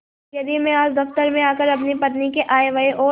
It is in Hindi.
यदि मैं आज दफ्तर में आकर अपनी पत्नी के आयव्यय और